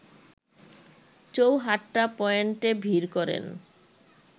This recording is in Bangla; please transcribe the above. চৌহাট্টা পয়েন্টে ভিড় করেন